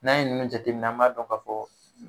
N'a ye ninnu jateminɛ an b'a dɔn k'a fɔ